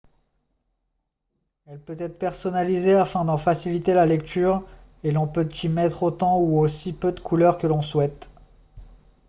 elle peut être personnalisée afin d'en faciliter la lecture et l'on peut y mettre autant ou aussi peu de couleur que l'on souhaite